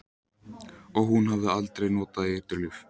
Og hún hafði aldrei notað eiturlyf.